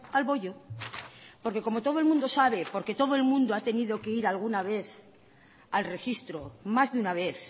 al bollo porque como todo el mundo sabe porque todo el mundo ha tenido que ir alguna vez al registro más de una vez